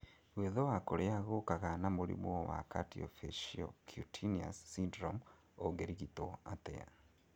Gwĩthũa kũrĩa gũkaga na mũrimu wa Cardiofaciocutaneous syndrome ũngĩrigitwo atĩa?